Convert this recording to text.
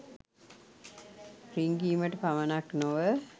රිංගීමට පමණක් නොව